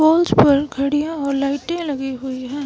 Wall पर घड़ियां और लाइटें लगी है।